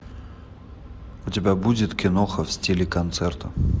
у тебя будет киноха в стиле концерта